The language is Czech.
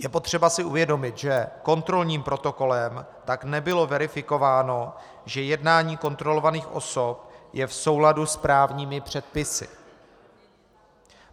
Je potřeba si uvědomit, že kontrolním protokolem tak nebylo verifikováno, že jednání kontrolovaných osob je v souladu s právními předpisy.